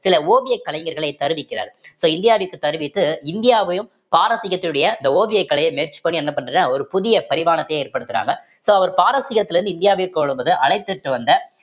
சில ஓவியக் கலைஞர்களை தருவிக்கிறார் so இந்தியாவிற்கு தருவித்து இந்தியாவையும் பாரசீகத்துடைய இந்த ஓவியக் கலையை match பண்ணி என்ன பண்றார் ஒரு புதிய பரிமானத்தை ஏற்படுத்துறாங்க so அவர் பாரசீகத்தில இருந்து இந்தியாவிற்கு வழும்போது அழைத்துட்டு வந்த